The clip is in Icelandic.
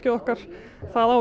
okkar það á